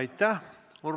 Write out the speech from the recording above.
Aitäh!